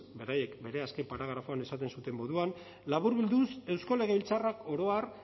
beraiek bere azken paragrafoan esaten zuten moduan laburbilduz eusko legebiltzarrak oro har